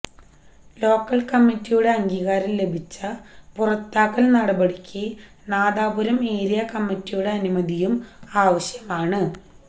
local കമ്മിറ്റിയുടെ അംഗീകാരം ലഭിച്ച പുറത്താക്കൽ നടപടിക്ക് നാദാപുരം ഏരിയ കമ്മിറ്റിയുടെ അനുമതിയും ആവശ്യമാണ്